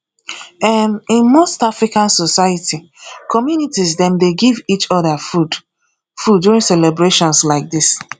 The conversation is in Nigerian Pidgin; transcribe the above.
um in most african society communities dem dey give each other food food during celebrations like this